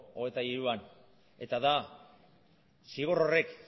hogeita hiruan eta da zigor horrek